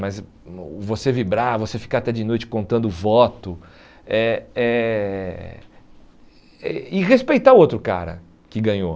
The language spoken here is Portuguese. mas você vibrar, você ficar até de noite contando voto é é eh e respeitar o outro cara que ganhou.